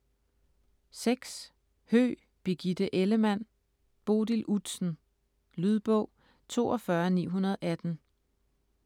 Höegh, Birgitte Ellemann: Bodil Udsen Lydbog 42918